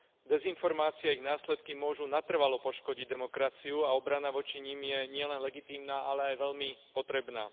Dezinformácie a ich následky môžu natrvalo poškodiť demokraciu a obrana voči nim je nielen legitímna, ale aj veľmi potrebná.